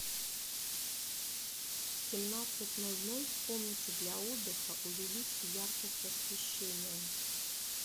в семнадцать ноль ноль в комнате для отдыха увеличь яркость освещения